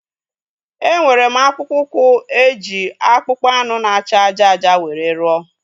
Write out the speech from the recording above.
Enwere m akpụkpọ ụkwụ e ji akpụkpọ anụ na acha ájá ájá were rụọ